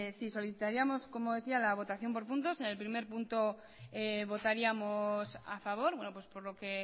sí solicitaríamos como decía la votación por puntos en el primer punto votaríamos a favor por lo que